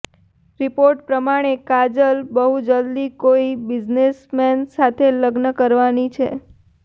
report પ્રમાણે કાજલ બહુ જલ્દી કોઈ બિઝનેસમેન સાથે લગ્ન કરવાની છે